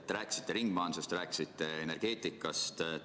Te rääkisite ringmajandusest ja energeetikast.